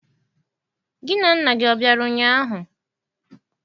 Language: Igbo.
Gị na nna gị ọ bịara ụnyaahụ?